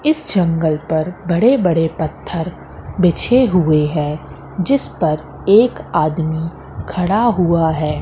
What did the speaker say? इस जंगल पर बड़े बड़े पत्थर बिछे हुए हैं जिस पर एक आदमी खड़ा हुआ है।